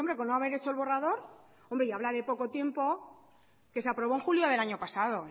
con no haber hecho el borrador habla de poco tiempo que se aprobó en julio del año pasado